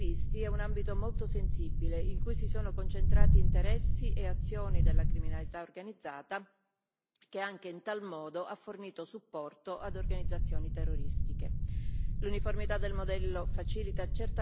Sappiamo poi che la falsificazione dei visti è un ambito molto sensibile in cui si sono concentrati interessi e azioni della criminalità organizzata che, anche in tal modo, ha fornito supporto ad organizzazioni terroristiche.